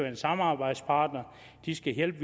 en samarbejdspartner det skal hjælpe